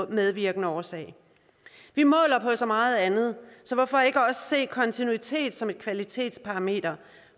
medvirkende årsag vi måler på så meget andet så hvorfor ikke også se kontinuitet som et kvalitetsparameter